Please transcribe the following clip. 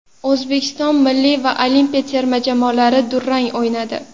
O‘zbekiston milliy va olimpiya terma jamoalari durang o‘ynadi.